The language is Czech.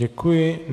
Děkuji.